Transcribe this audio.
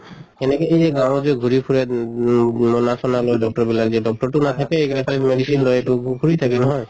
সেনেকে কে যে গাঁৱত যে ঘুৰি ফুৰে মোনা চোনা লৈ doctor বিলাকে, doctor টো নাথাকে এইগিটা খালি medicine লয় ঘুৰি থাকে নহয়